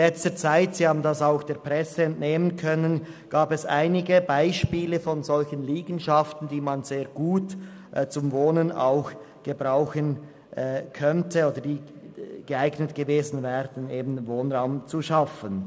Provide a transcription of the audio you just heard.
Wie Sie auch der Presse entnehmen konnten, gab es in letzter Zeit einige Beispiele solcher Liegenschaften, die man sehr gut auch zum Wohnen hätte benutzen können und also geeignet gewesen wären, neuen Wohnraum zu schaffen.